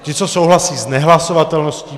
Ti, co souhlasí s nehlasovatelností.